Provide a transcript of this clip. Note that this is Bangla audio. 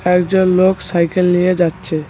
একজন লোক সাইকেল নিয়ে যাচ্ছে।